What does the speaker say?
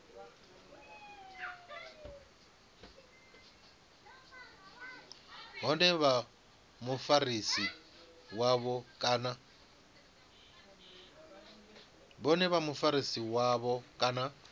vhone na mufarisi wavho kana